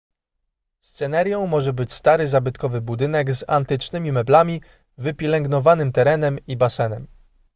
scenarią może być stary zabytkowy budynek z antycznymi meblami wypielęgnowanym terenem i basenem